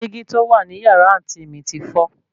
Dígí tó wà ní yàrá àǹtí mi ti fọ́